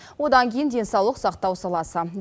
одан кейін денсаулық сақтау саласы